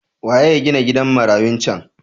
Wane ya ginan gidan marayun cen?